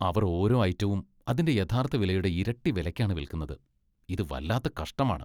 അവർ ഓരോ ഐറ്റവും അതിന്റെ യഥാർത്ഥ വിലയുടെ ഇരട്ടി വിലയ്ക്കാണ് വിൽക്കുന്നത് . ഇത് വല്ലാത്ത കഷ്ടമാണ് .